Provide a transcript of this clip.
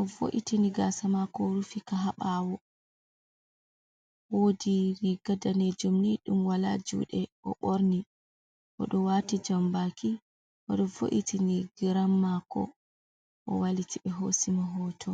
o vo'itini gaasa mako, o rufi a ha ɓawo, woodi riga daneejuum ni wala juungu oɗo ɓorni, oɗo wati jambaki, o vo'itini geram mako, o wailiti ohosi hoto.